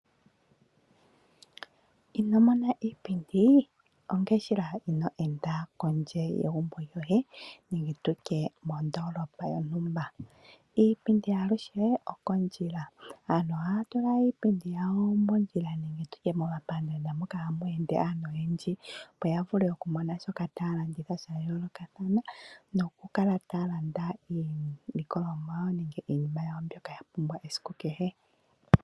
Ino mona iipindi ongele shila ino ende kondje yegumbo lyoye nenge tu tye mondoolopa yontumba. Iipindi aluhe opondjila. Aantu ohaya tula iipindi yawo mondjila nenge tu tye momapandaanda moka hamu ende aantu oyendji, opo ya vule okumona shoka taya landitha sha yoolokathana nokukala taya landa iilikolomwa yawo nenge iinima yawo mbyoka ya pumbwa esiku kehe.